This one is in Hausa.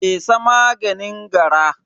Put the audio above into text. fesa maganin gara.